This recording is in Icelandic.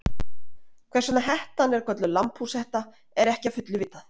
Hvers vegna hettan er kölluð lambhúshetta er ekki að fullu vitað.